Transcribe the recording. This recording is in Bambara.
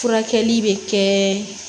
Furakɛli bɛ kɛ